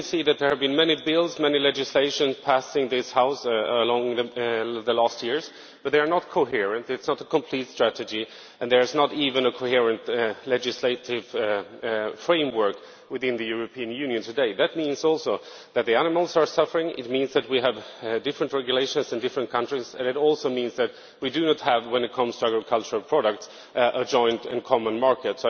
There have been many bills much legislation passed in this House in recent years, but they are not coherent, there is no complete strategy and there is not even a cohesive legislative framework within the European Union today. That means also that the animals are suffering it means that we have different regulations in different countries, and it also means that we do not have, when it comes to agricultural products, a joint and common market.